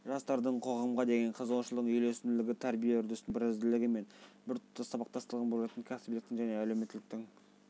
жастардың қоғамға деген қызығушылығының үйлесімділігі тәрбие үрдісінің бірізділігі мен біртұтас сабақтастығын болжайтын кәсібиліктің және әлеуметтіліктің